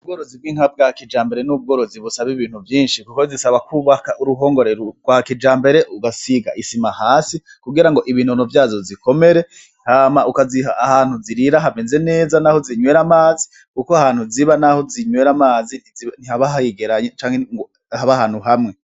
Ubworozi bw'inka bwa kijambere n'ubworozi busaba ibintu vyishi kuko zisaba kubaka uruhongore rwa kijambere ugasiga isima hasi kugira ibinono vyazo zikomere hama ukaziha ahantu zirira hameze neza n'aho zinwera amazi kuko ahantu ziba n'aho zinwera amazi ntihaba hegeranye canke ngo habe ahantu hamwe.